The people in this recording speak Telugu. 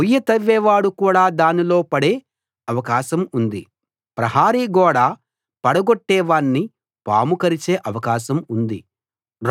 గొయ్యి తవ్వేవాడు కూడా దానిలో పడే అవకాశం ఉంది ప్రహరీ గోడ పడగొట్టే వాణ్ణి పాము కరిచే అవకాశం ఉంది